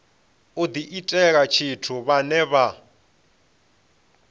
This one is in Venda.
u diitela tshithu vhane vha